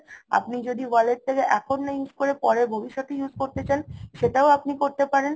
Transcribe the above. আপনি যদি ওয়ালেট টা এখন না use করে পরে ভবিষৎতে use করতে চান সেটাও আপনি করতে পারেন